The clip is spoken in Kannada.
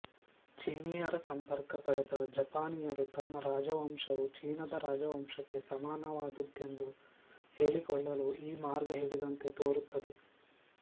ಚೀನೀಯರ ಸಂಪರ್ಕ ಪಡೆದ ಜಪಾನೀಯರು ತಮ್ಮ ರಾಜವಂಶವೂ ಚೀನದ ರಾಜವಂಶಕ್ಕೆ ಸಮಾನವಾದ್ದೆಂದು ಹೇಳಿಕೊಳ್ಳಲು ಈ ಮಾರ್ಗ ಹಿಡಿದಂತೆ ತೋರುತ್ತದೆ